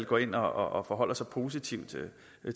går ind og forholder sig positivt